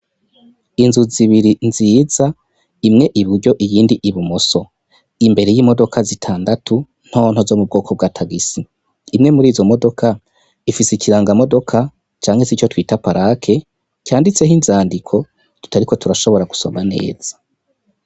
Inzu zibiri nziza, imwe iburyo, iyindi ibumoso, imbere y'imodoka zitandatu ntonto zo mu bwoko bwa tagisi, imwe mur'izo modoka ifise ikirangamodoka canke se ico twita parake canditseho inzandiko tutariko turashobora gusoma neza.